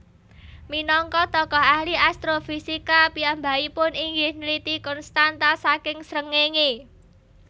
Minangka tokoh ahli astrofisika piyambakipun inggih nliti konstanta saking srengenge